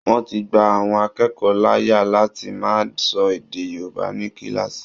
Wọ́n ti gba àwọn akẹ́kọ̀ọ́ láàyè lati máa sọ èdè Yorùbá ní kíláàsì